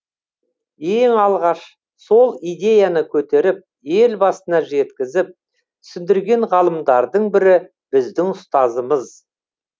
ең алғаш сол идеяны көтеріп елбасына жеткізіп түсіндірген ғалымдардың бірі біздің ұстазымыз